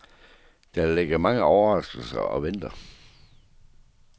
Der ligger mange overraskelser og venter.